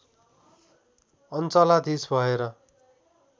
अञ्चलाधीश भएर